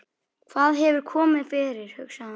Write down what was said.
Hvað hefur komið fyrir, hugsaði hún.